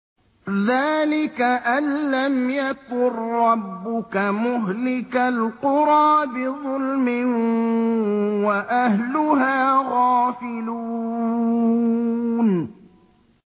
ذَٰلِكَ أَن لَّمْ يَكُن رَّبُّكَ مُهْلِكَ الْقُرَىٰ بِظُلْمٍ وَأَهْلُهَا غَافِلُونَ